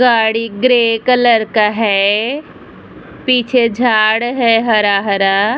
गाड़ी grey colour का है पीछे झाड़ है हरा-हरा |